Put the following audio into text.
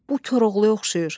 Bu Koroğluya oxşayır.